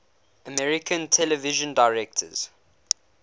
american television directors